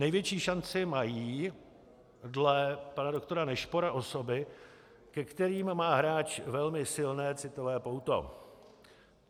Největší šanci mají dle pana doktora Nešpora osoby, ke kterým má hráč velmi silné citové pouto.